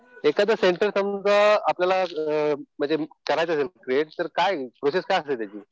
एखाद सेंटर समजा आपल्याला म्हणजे करायचं असेल क्रिएट तर काय प्रोसेस काय असते त्याची.